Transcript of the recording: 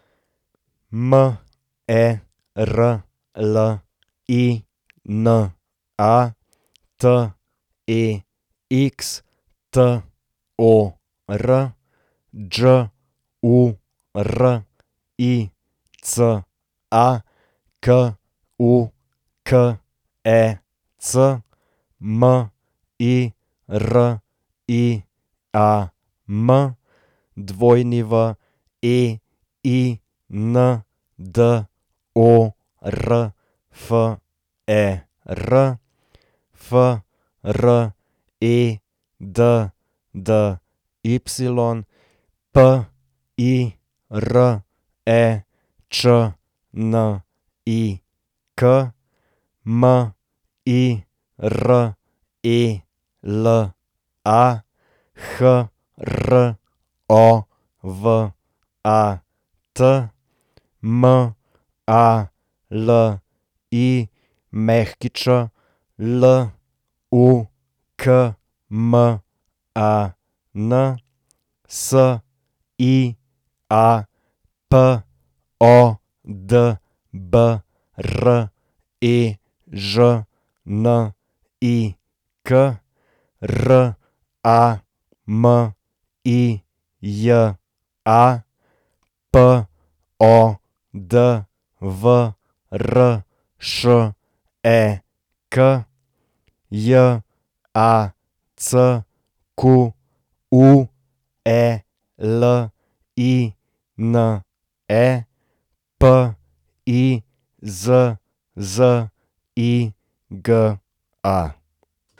Merlina Textor, Đurica Kukec, Miriam Weindorfer, Freddy Pirečnik, Mirela Hrovat, Malić Lukman, Sia Podbrežnik, Ramija Podvršek, Jacqueline Pizziga.